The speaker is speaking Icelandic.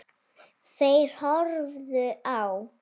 Þeir horfðu á.